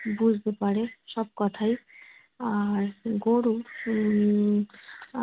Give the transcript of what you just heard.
বুঝতে পারে সব কথাই। আর গরু উম